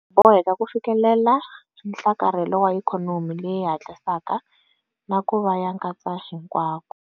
Hi boheka ku fikelela nhlakarhelo wa ikhonomi leyi hatlisaka na ku va ya nkatsahinkwavo.